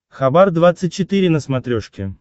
хабар двадцать четыре на смотрешке